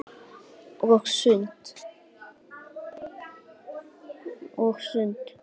Og sund.